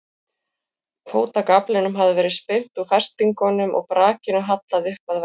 Fótagaflinum hafði verið spyrnt úr festingum og brakinu hallað upp að vegg.